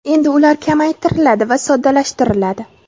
Endi ular kamaytiriladi va soddalashtiriladi.